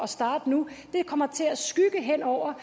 starte nu kommer til at skygge hen over